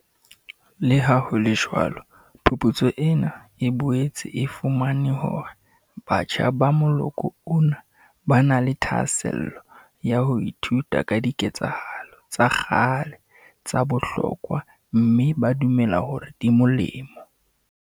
Leha ho le jwalo phuputso ena e boetse e fumane hore batjha ba moloko ona ba na le thahasello ya ho ithuta ka diketsahalo tsa kgale tsa bohlokwa mme ba dumela hore di molemo.